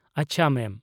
ᱟᱪᱪᱷᱟ ᱢᱮᱢ ᱾